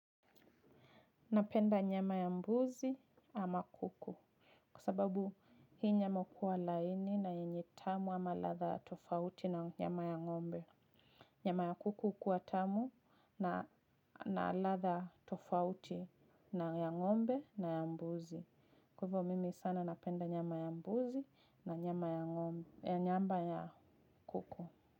Napenda nyama ya mbuzi ama kuku, kwasababu hii nyama huwa laini na yenye tamu ama latha tofauti na nyama ya ngombe. Nyama ya kuku kuwa tamu na ladha tofauti na nyama ya ng'ombe na ya mbuzi. Kwa hivyo mimi sana napenda nyama ya mbuzi na nyama ya kuku.